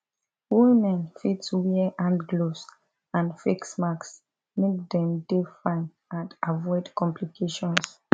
women fit wear hand gloves and face masks make dem dey fine and avoid complications